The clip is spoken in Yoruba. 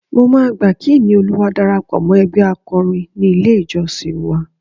Mo máa gbà kí Ìníolúwa darapọ̀ mọ́ ẹgbẹ́ akọrin ní ilé-ìjọ́sìn wa